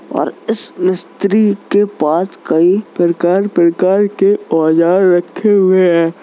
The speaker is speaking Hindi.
और इस मिस्त्री के पास कई प्रकार प्रकार के औजार रखे हुए हैं।